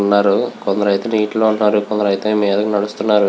వున్నారు కొందరు అయతె నీటిలో ఉనారు. కొందరు అయతె మీద నడుస్తునారు.